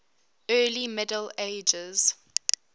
early middle ages